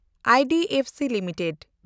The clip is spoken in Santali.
IDFC limited